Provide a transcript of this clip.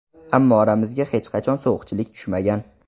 Ammo oramizga hech qachon sovuqchilik tushmagan.